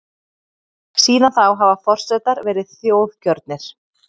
Síðan þá hafa forsetar verið þjóðkjörnir.